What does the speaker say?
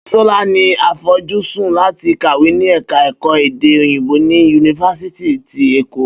Bísọ́lá ní àfojúsùn láti kàwé ni ẹ̀ka ẹ̀kọ́ èdè òyìnbó ni yunifásítì ti Èkó